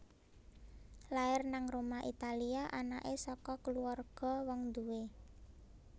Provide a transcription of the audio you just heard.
Lair nang Roma Italia anake saka kulawarga wong duwé